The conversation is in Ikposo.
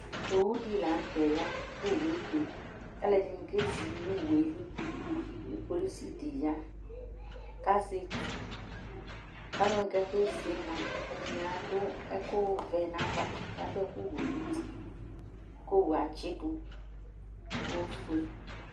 Owʊɖi la ŋʊtɛ ƴa Ƙʊ owu ébé, ƙalu ɛɖini ƙézi ŋʊ owuélɩ Ƙʊ police ɖɩ ƴa ƙazɛ étʊ Ƙalʊwa ƙakézi ɛɖɩŋɩ aɖʊ ɛƙʊ ʋɛ ŋava ƙaɖʊ eƙʊ wɛ ŋʊti , ƙʊ owʊé atsɩɖu oƒoé